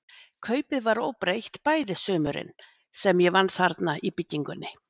Kaupið var óbreytt bæði sumurin, sem ég vann þarna í byggingunni.